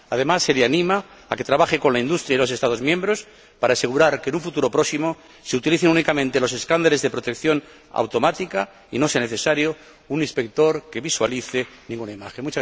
Además, se le anima a que trabaje con la industria y los Estados miembros para asegurar que en un futuro próximo se utilicen únicamente los escáneres de protección automática y no sea necesario un inspector que visualice ninguna imagen.